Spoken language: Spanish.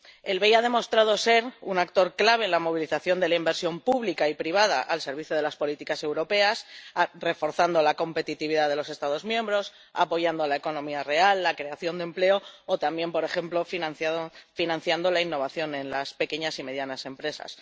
El BEI ha demostrado ser un actor clave en la movilización de la inversión pública y privada al servicio de las políticas europeas, reforzando la competitividad de los Estados miembros, apoyando la economía real, la creación de empleo, o también, por ejemplo, financiando la innovación en las pequeñas y medianas empresas.